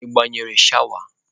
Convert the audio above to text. Ị gbanyere shawa?